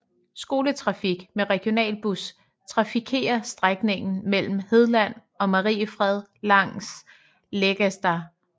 Skoletrafik med regionalbus trafikerer strækningen mellem Hedlandet og Mariefred via Läggesta